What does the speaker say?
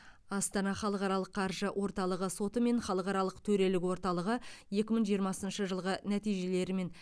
астана халықаралық қаржы орталығы соты мен халықаралық төрелік орталығы екі мың жиырмасыншы жылғы нәтижелерімен